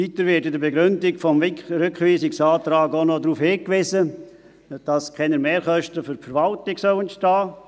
Weiter wird in der Begründung des Rückweisungsantrags auch noch darauf hingewiesen, dass keine Mehrkosten für die Verwaltung entstehen sollen.